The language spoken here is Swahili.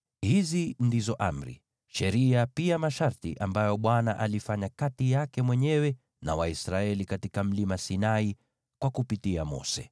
Hizi ndizo amri, sheria na pia masharti ambazo Bwana alifanya kati yake mwenyewe na Waisraeli katika Mlima Sinai kupitia kwa Mose.